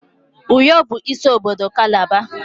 Uyo bụ isi obodo kalaba.